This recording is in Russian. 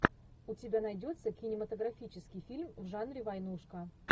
у тебя найдется кинематографический фильм в жанре войнушка